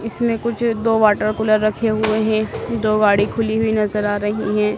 इसमें कुछ दो वाटर कूलर रखे हुए हैं दो गाड़ी खुली हुई नजर आ रही है।